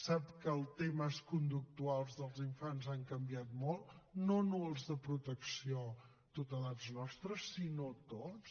sap que els temes conductuals dels infants han canviat molt no només els de protecció tutelats nostres sinó tots